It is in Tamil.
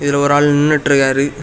இதுல ஒரு ஆளு நின்னுட்டு இருக்காரு.